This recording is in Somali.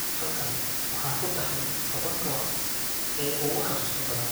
Halkan, waxaan ku taxnay tobanka waqti ee ugu xusuusta badan.